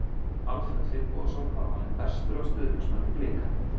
Alfreð Finnbogason var valinn bestur af stuðningsmönnunum Blika.